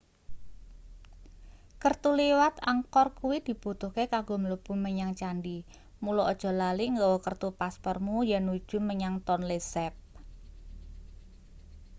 kertu liwat angkor kuwi dibutuhke kanggo mlebu menyang candhi mula aja lali nggawa kertu paspormu yennuju menyang tonle sap